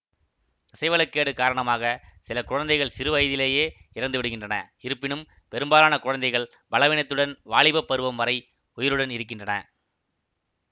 தசைவள கேடு காரணமாக சில குழந்தைகள் சிறு வயதிலேயே இறந்துவிடுகின்றன இருப்பினும் பெரும்பாலான குழந்தைகள் பலவீனத்துடன் வாலிபப் பருவம் வரை உயிருடன் இருக்கின்றன